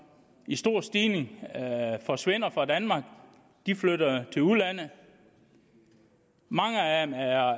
i stor stil forsvinder fra danmark de flytter til udlandet mange af dem er